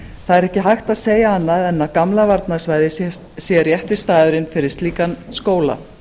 það er ekki hægt að segja annað en að gamla varnarsvæðið sé rétti staðurinn fyrir slíkan skóla